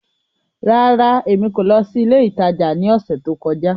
Rárá, Emi ko lọ si ile itaja ni ọsẹ to kọja.